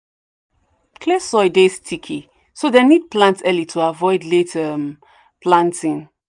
clay soil dey sticky so dem need plant early to avoid late um planting.